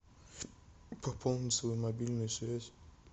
пополнить свою мобильную связь